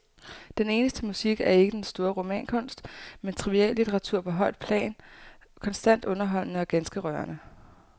Den eneste musik er ikke den store romankunst, men triviallitteratur på højt plan, konstant underholdende og ganske rørende.